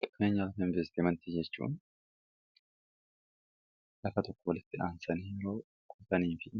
qakneenya wala investe mantii jechuun lakka tokko walitti dhaansanii roo kotanii fi